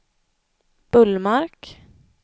Bullmark